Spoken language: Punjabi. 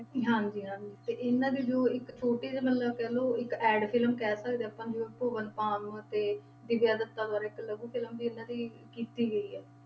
ਹਾਂਜੀ ਹਾਂਜੀ ਤੇ ਇਹਨਾਂ ਦੀ ਜੋ ਇੱਕ ਛੋਟੀ ਜਿਹੀ ਮਤਲਬ ਕਹਿ ਲਓ ਇੱਕ ad film ਕਹਿ ਸਕਦੇ ਹਾਂ ਆਪਾਂ ਭੂਵਨ ਬਾਮ ਤੇ ਦਿਵਿਆ ਦੱਤਾ ਦੁਆਰਾ ਇੱਕ ਲਘੂ film ਵੀ ਇਹਨਾਂ ਦੀ ਕੀਤੀ ਗਈ ਹੈ।